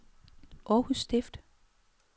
Århus Stift